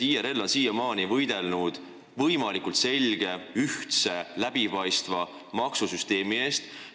IRL on siiamaani võidelnud võimalikult selge, ühtse, läbipaistva maksusüsteemi eest.